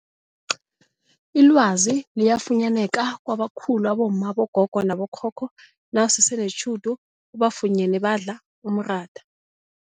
Ilwazi liyafunyaneka kwabakhulu abomma, abogogo nabokhokho nawusese netjhudu ubafunyene badla umratha.